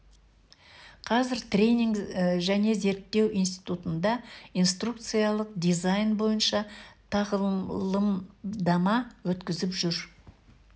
қазір тренинг және зерттеу институтында инструкциялық дизайн бойынша тағылымдама өткізіп жүр